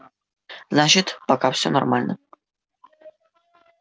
значит пока всё нормально